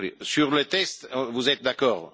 Sur le texte, vous êtes d'accord?